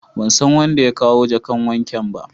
Ban san wanda ya kawo jakan waken ba.